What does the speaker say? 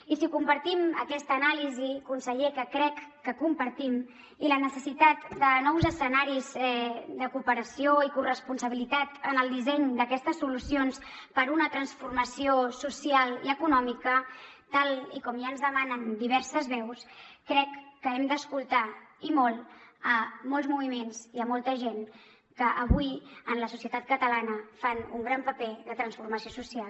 i si compartim aquesta anàlisi conseller que crec que compartim i la necessitat de nous escenaris de cooperació i corresponsabilitat en el disseny d’aquestes solucions per una transformació social i econòmica tal com ja ens demanen diverses veus crec que hem d’escoltar i molt molts moviments i molta gent que avui en la societat catalana fan un gran paper de transformació social